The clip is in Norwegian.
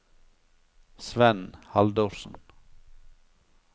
Svenn Haldorsen